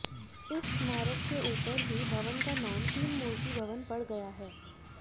इस स्मारक के ऊपर ही भवन का नाम तीन मूर्ति भवन पड़ गया है